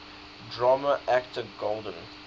drama actor golden